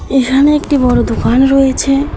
এখানে একটি বড় দোকান রয়েছে।